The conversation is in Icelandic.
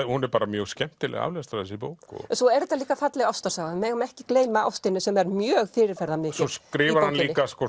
hún er mjög skemmtileg aflestrar þessi bók svo er þetta líka falleg ástarsaga við megum ekki gleyma ástinni sem er mjög fyrirferðarmikil svo skrifar hann líka